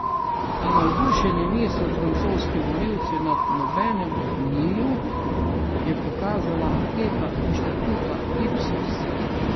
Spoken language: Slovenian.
A navdušeni niso francoski volivci nad nobenim od njiju, je pokazala anketa inštituta Ipsos.